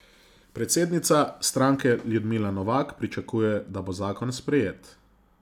Predsednica stranke Ljudmila Novak pričakuje, da bo zakon sprejet.